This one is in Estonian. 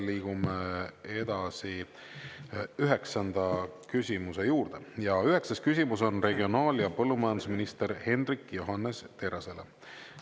Liigume edasi üheksanda küsimuse juurde ja üheksas küsimus on regionaal- ja põllumajandusminister Hendrik Johannes Terrasele.